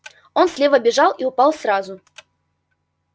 он слева бежал и упал сразу